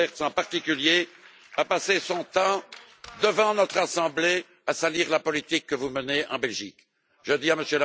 Lamberts en particulier a passé son temps devant notre assemblée à salir la politique que vous menez en Belgique. Je dis à M.